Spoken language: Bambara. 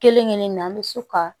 Kelen kelen na an bɛ so ka